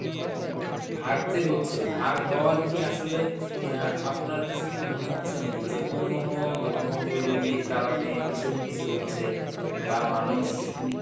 হ্যাঁ ভাগ যে হচ্ছে, ভাগ হওয়ার কি আসলে অ্যাঁ আপনার কাছে কি মনে হচ্ছে নাকি যে অন্য কোনো ধর্ম অবলম্বীর কারণে এসব কিছু হচ্ছে, বা মানুষ